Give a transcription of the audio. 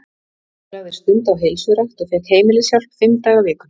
Hún lagði stund á heilsurækt og fékk heimilishjálp fimm daga vikunnar.